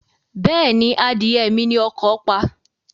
Bẹ́ẹ̀ni, adìyẹ mi ni ọkọ̀ pa.